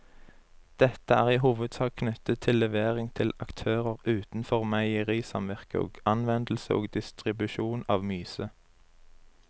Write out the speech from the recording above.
Dette er i hovedsak knyttet til levering til aktører utenfor meierisamvirket og anvendelse og distribusjon av myse.